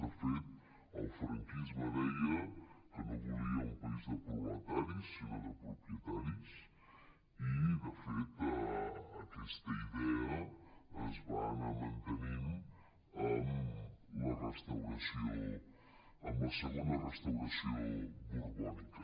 de fet el franquisme deia que no volia un país de proletaris sinó de propietaris i de fet aquesta idea es va anar mantenint amb la segona restauració borbònica